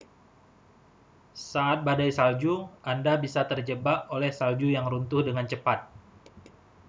saat badai salju anda bisa terjebak oleh salju yg runtuh dengan cepat